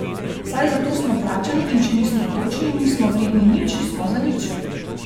Saj zato smo plačani in če nismo točni, nismo vredni nič, smo zanič.